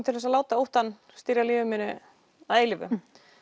til að láta óttann stýra lífi mínu að eilífu